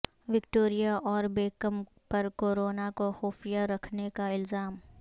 Victoria اور Beckham پر corona کو خفیہ رکھنے کا الزام